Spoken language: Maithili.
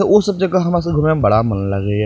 ते उ सब जगह हमरा सबके घूमे में बड़ा मन लागे ये।